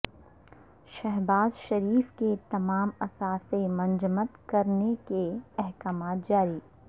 شہباز شریف کے تمام اثاثے منجمد کرنےکے احکامات جاری